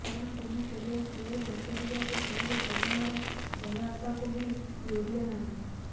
କାରଣ ତୁମେ କେବଳ ସୁଅରେ ଭାସିଯିବାକୁ ଚାହିଁଲ ପବନର ସହାୟତାକୁ ବି ଲୋଡ଼ିଲ ନାହିଁ